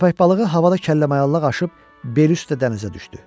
Köppək balığı havada kəlləmayallıq aşıb beli üstə dənizə düşdü.